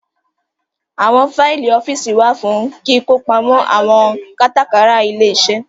Àwọn Faìlì ọ́fíìsì wá fún kíkọ pamọ àwọn kátàkárà ilé-iṣẹ́